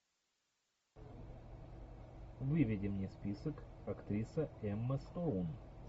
выведи мне список актриса эмма стоун